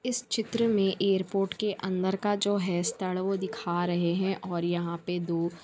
इस चित्र मे एयरपोर्ट के अंदर का जो है स्थल वो दिखा रहें हैं और यहाँ पे दो--